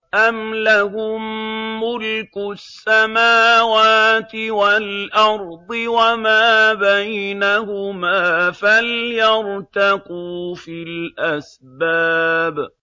أَمْ لَهُم مُّلْكُ السَّمَاوَاتِ وَالْأَرْضِ وَمَا بَيْنَهُمَا ۖ فَلْيَرْتَقُوا فِي الْأَسْبَابِ